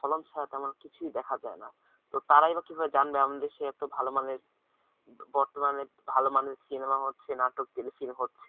ফলন ছাড়া তো আর কিছুই দেখা যায় না তো তারা কিভাবে জানবে আমাদের দেশে এত ভাল মানের বর্তমানে ভালো মানের সিনেমা হচ্ছে নাটক telefilm হচ্ছে